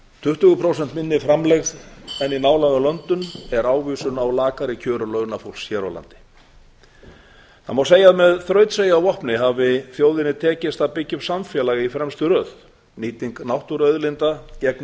tuttugu prósenta minni framlegð en í nálægum löndum er ávísun á lakari kjör launafólks hér á landi það má segja að með þrautseigju að vopni hafi þjóðinni tekist að byggja upp samfélag í fremstu röð nýting náttúruauðlinda gegnir